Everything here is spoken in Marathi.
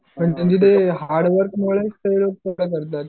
त्यांचे ते हार्ड वर्कमुळेच ते करतात.